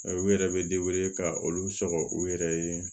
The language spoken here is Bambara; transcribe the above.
U yɛrɛ bɛ ka olu sɔrɔ u yɛrɛ ye